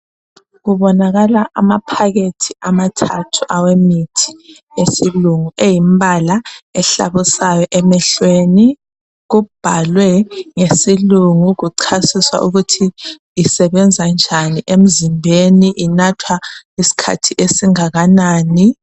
Kubonakala amaphakethi amathathu awemithi esilungu eyimbala ehlabusayo emehlweni. Kubhalwe ngesilungu kuchasiswa ukuthi isebenza njani emzimbeni, inathwa isikhathi esingakanani